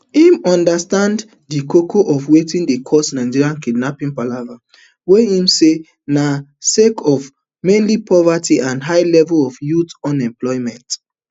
im understand di koko of wetin dey cause nigeria kidnapping palava wey im say na sake of mainly poverty and high levels of youth unemployment